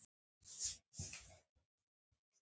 Er ég ekki frjáls?